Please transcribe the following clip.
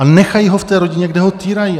A nechají ho v té rodině, kde ho týrají.